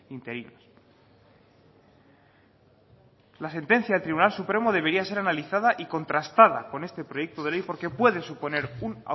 interinos la sentencia del tribunal supremo debería ser analizada y contrastada con este proyecto de ley porque puede suponer un